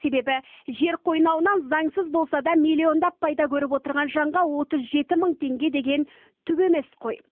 себебі жер қойнауынан заңсыз болса да миллиондап пайда көріп отырған жанға отыз жеті мың теңге деген түк емес қой